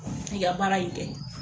I ka baara in kɛ.